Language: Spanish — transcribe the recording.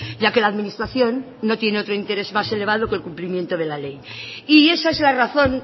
ya que la administración no tiene otro interés más elevado que el cumplimiento de la ley y esa es la razón